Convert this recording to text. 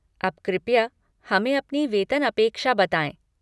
अब कृपया हमें अपनी वेतन अपेक्षा बताएँ।